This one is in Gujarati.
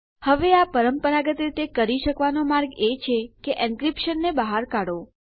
હવે આ પરંપરાગત રીતે કરી શકવાનો માર્ગ એ છે કે એનક્રીપ્શનને બહાર કાઢો